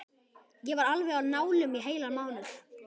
Ég var alveg á nálum í heilan mánuð.